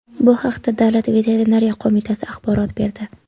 Bu haqda Davlat veterinariya qo‘mitasi axborot berdi .